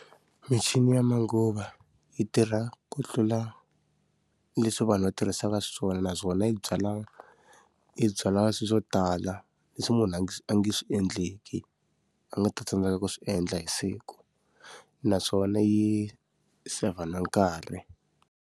Michini ya manguva yi tirha ku tlula leswi vanhu va tirhisaka xiswona naswona yi byala yi byala swilo swo tala, leswi munhu a nga a nga swi endleki, a nga ta tsandzekaka swi endla hi siku. Naswona yi saver na nkarhi.